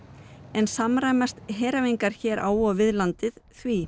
en samræmast heræfingar hér á og við landið því